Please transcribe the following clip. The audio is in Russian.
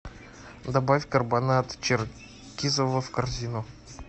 добавь карбонад черкизово в корзину